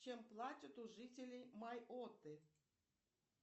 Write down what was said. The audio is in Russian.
чем платят у жителей майотты